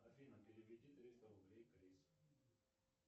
афина переведи триста рублей крис